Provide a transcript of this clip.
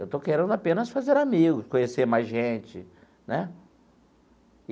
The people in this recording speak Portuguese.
Eu estou querendo apenas fazer amigos, conhecer mais gente, né?